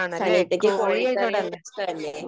സനീഷക്ക് കോഴിക്കറി ഇഷ്ടമല്ലേ